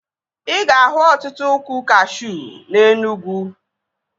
Ị ga-ahụ ọtụtụ ụkwụ kashuu na Enugwu